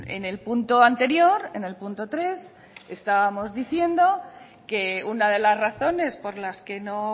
en el punto anterior en el punto tres estábamos diciendo que una de las razones por las que no